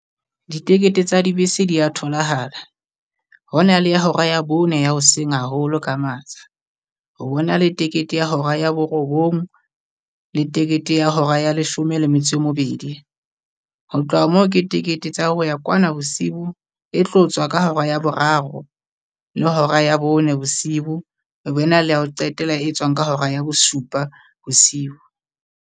Ditikete tsa dibese dia tholahala, ho na le ya hora ya bone ya hoseng haholo ka matsha, ho bona le ticket ya hora ya borobong le ticket ya hora ya leshome le metso e mebedi. Ho tloha moo, ke tikete tsa ho ya kwana bosiu e tlo tswa ka hora ya boraro, le hora ya bone bosibo. E be na le ya ho qetela e tswang ka hora ya bosupa bosibo.